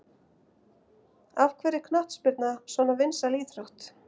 Af hverju er knattspyrna svona vinsæl íþrótt?